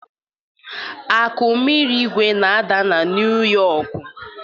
akụmirigwē na-ada na Niu Yọkụ